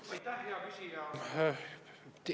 Aitäh, hea küsija!